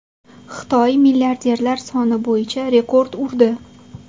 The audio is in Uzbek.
Xitoy milliarderlar soni bo‘yicha rekord urdi.